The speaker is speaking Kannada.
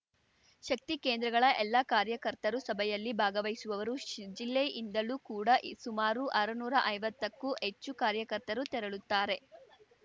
ಶಕ್ತಿ ಕೇಂದ್ರಗಳ ಎಲ್ಲ ಕಾರ್ಯಕರ್ತರು ಸಭೆಯಲ್ಲಿ ಭಾಗವಹಿಸುವವರು ಜಿಲ್ಲೆಯಿಂದಲೂ ಕೂಡ ಸುಮಾರು ಆರುನೂರಾ ಐವತ್ತಕ್ಕೂ ಹೆಚ್ಚು ಕಾರ್ಯಕರ್ತರು ತೆರಳುತ್ತಾರೆ